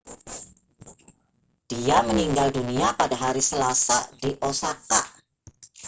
dia meninggal dunia pada hari selasa di osaka